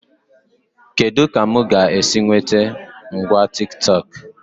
Kedụ ka mụ ga-esi nwete ngwa Tiktọk?